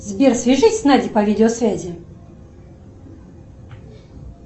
сбер свяжись с надей по видеосвязи